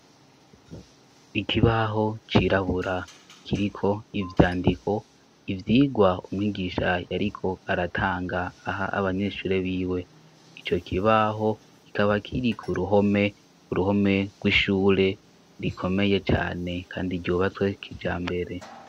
Ikibaho cirabura kiriko ivyandiko, ivyigwa umwigisha yariko aratanga, aha abanyeshure b'iwe. Ico kibaho kikaba kiri k'uruhome rw'ishure rikomeye cane, kandi ryubatswe kijambere.